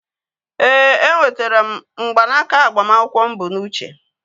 Ee, e nwetere m mgbanaka agbamakwụkwọ mụ bụ n'uche